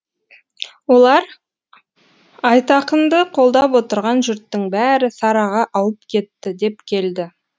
олар айтақынды қолдап отырған жұрттың бәрі сараға ауып кетті деп келді